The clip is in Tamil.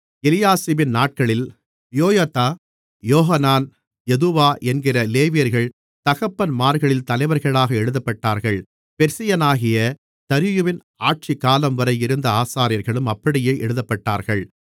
எலியாசிபின் நாட்களில் யொயதா யோகனான் யதுவா என்கிற லேவியர்கள் தகப்பன்மார்களின் தலைவர்களாக எழுதப்பட்டார்கள் பெர்சியனாகிய தரியுவின் ஆட்சி காலம்வரை இருந்த ஆசாரியர்களும் அப்படியே எழுதப்பட்டார்கள்